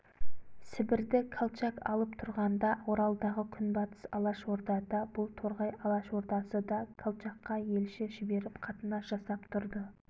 сібірді колчак алып тұрғанда оралдағы күнбатыс алашорда да бұл торғай алашордасы да колчакқа елші жіберіп қатынас жасап тұрды